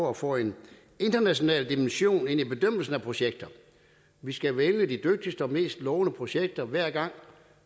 at få en international dimension ind i bedømmelsen af projekter vi skal vælge de dygtigste og mest lovende projekter hver gang